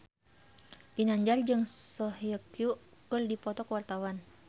Ginanjar jeung Song Hye Kyo keur dipoto ku wartawan